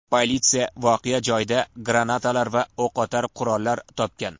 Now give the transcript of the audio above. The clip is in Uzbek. Politsiya voqea joyida granatalar va o‘qotar qurollar topgan.